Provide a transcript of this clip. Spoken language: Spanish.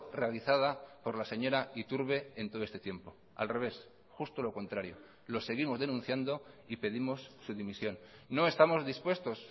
realizada por la señora iturbe en todo este tiempo al revés justo lo contrario lo seguimos denunciando y pedimos su dimisión no estamos dispuestos